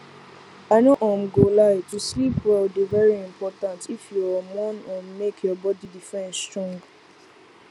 i no um go lie to sleep well dey very important if you um wan um make your body defense strong